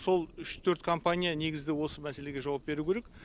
сол үш төрт компания негізі осы мәселеге жауап беру керек